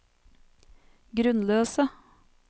grunnløse